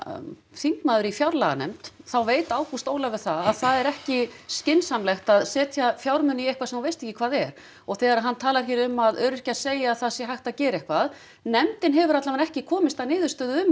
þingmaður í fjárlaganefnd þá veit Ágúst Ólafur það að það er ekki skynsamlegt að setja fjármuni í eitthvað sem þú veist ekki hvað er og þegar hann talar hér um að öryrkjar segi að það sé hægt að gera eitthvað nefndin hefur alla vega ekki komist að niðurstöðu um